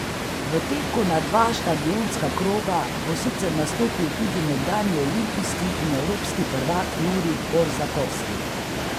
V teku na dva štadionska kroga bo sicer nastopil tudi nekdanji olimpijski in evropski prvak Jurij Borzakovski.